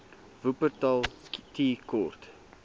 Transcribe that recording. wupperthal tea court